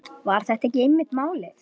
Var þetta ekki einmitt málið?